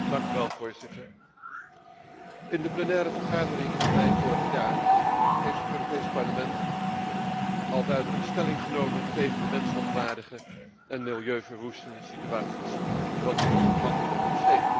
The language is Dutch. Voorzitter, in de plenaire vergadering van mei vorig jaar heeft het Europees Parlement al duidelijk stelling genomen tegen de mensonwaardige en milieuverwoestende situaties rond het ontmantelen van schepen.